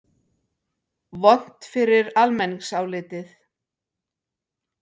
Vont fyrir almenningsálitið?